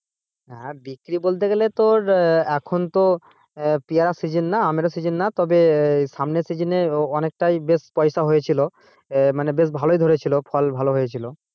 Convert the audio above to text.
হ্যাঁ বিক্রি করতে গেলে পরে তোর আহ এখন তো আহ পেয়ারার season না আমের ও season না তবে সামনের season এ অনেকটা বেশ পয়সা হয়েছিল আহ মানে বেশ ভালই ধরেছিলো ফল ভালো হয়েছিল।